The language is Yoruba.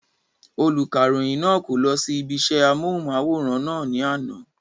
Olùkàròyìn náà kò lọ sí ibi isẹ́ amóhùnmáwòrán náà ní àná